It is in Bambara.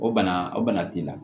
O bana o bana t'i la